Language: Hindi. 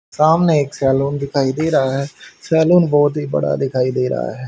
सामने एक सैलून दिखाई दे रहा है सैलून बहोत ही बड़ा दिखाई दे रहा है।